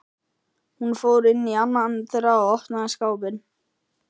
Hún fór inn í annað þeirra og opnaði skápinn.